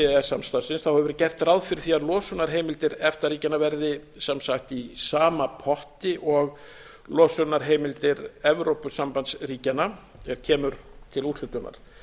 samstarfsins hefur verið gert ráð fyrir því að losunarheimildir efta ríkjanna verði sem sagt í sama potti og losunarheimildir evrópusambandsríkjanna er kemur til úthlutunar